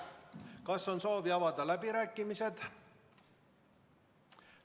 Kas on soovi avada läbirääkimisi?